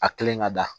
A kilenlen ka da